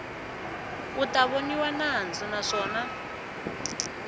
u ta voniwa nandzu naswona